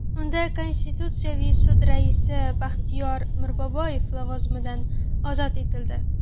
Unda Konstitutsiyaviy sud raisi Baxtiyor Mirboboyev lavozimidan ozod etildi.